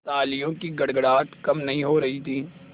तालियों की गड़गड़ाहट कम नहीं हो रही थी